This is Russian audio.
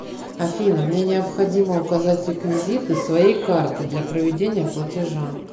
афина мне необходимо указать реквизиты своей карты для проведения платежа